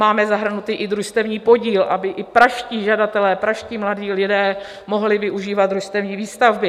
Máme zahrnutý i družstevní podíl, aby i pražští žadatelé, pražští mladí lidé mohli využívat družstevní výstavby.